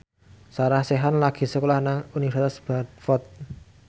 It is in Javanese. Sarah Sechan lagi sekolah nang Universitas Bradford